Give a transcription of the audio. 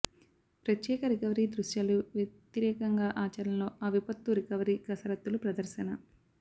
ప్రత్యేక రికవరీ దృశ్యాలు వ్యతిరేకంగా ఆచరణలో ఆ విపత్తు రికవరీ కసరత్తులు ప్రదర్శన